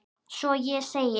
Svo ég segi